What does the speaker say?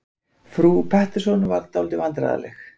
Frú Pettersson varð dálítið vandræðaleg.